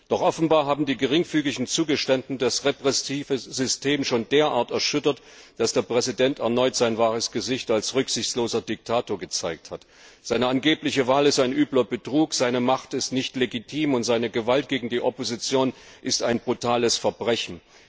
Doch offenbar haben die geringfügigen Zugeständnisse das repressive System schon derart erschüttert, dass der Präsident erneut sein wahres Gesicht als rücksichtsloser Diktator gezeigt hat. Seine angebliche Wahl ist ein übler Betrug, seine Macht ist nicht legitim, und seine Gewalt gegen die Opposition ist ein brutales Verbrechen.